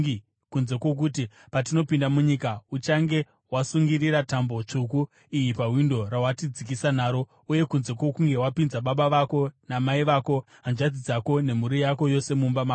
kunze kwokuti, patinopinda munyika, uchange wasungirira tambo tsvuku iyi pawindo rawatidzikisa naro, uye kunze kwokunge wapinza baba vako namai vako, hanzvadzi dzako nemhuri yako yose mumba mako.